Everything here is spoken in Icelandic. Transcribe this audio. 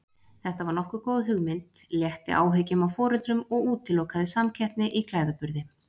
Þetta var nokkuð góð hugmynd, létti áhyggjum af foreldrum og útilokaði samkeppni í klæðaburði.